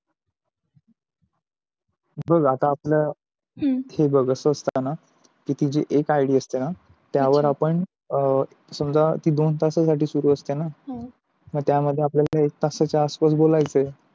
बघ आता आपल हम्म हे बघ अस असतं न तुझी एक ID असते न त्या वर आपण अं समझा ते दोन तास साठी शुरू असते न त्या मध्ये आपल्या ला एक तासाचा आस पास बोलायच यांचे